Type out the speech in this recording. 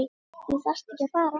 Þú þarft ekki að fara